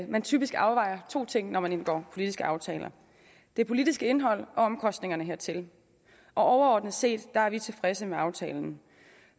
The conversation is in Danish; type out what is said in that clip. man typisk afvejer to ting når man indgår politiske aftaler det politiske indhold og omkostningerne hertil og overordnet set er vi tilfredse med aftalen